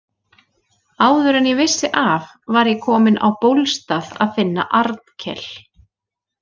Áður en ég vissi af var ég kominn á Bólstað að finna Arnkel.